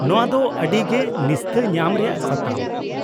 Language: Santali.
- ᱱᱚᱶᱟ ᱫᱚ ᱟᱹᱰᱤ ᱜᱮ ᱱᱤᱥᱛᱟᱹ ᱧᱟᱢ ᱨᱮᱭᱟᱜ ᱥᱟᱛᱟᱢ ᱾